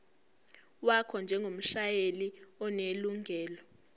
wakho njengomshayeli onelungelo